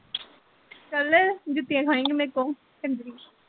ਚੱਲ, ਜੁੱਤੀਆਂ ਖਾਏਗੀ ਮੇਰੇ ਕੋ ਚੰਦਰੀ